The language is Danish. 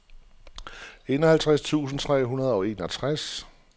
enoghalvtreds tusind tre hundrede og enogtres